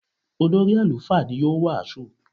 Olórí àlùfáà ni yóò wàásù.